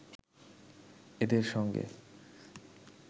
এদের সঙ্গে